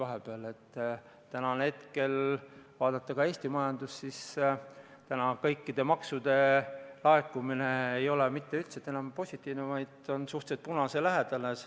Kui vaadata praegu Eesti majandust, siis näeme, et kõikide maksude laekumine ei ole enam positiivne, vaid on liikunud suhteliselt punase lähedale.